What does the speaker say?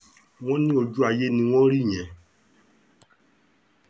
wọ́n ní ojú ayé ni wọ́n rí yẹn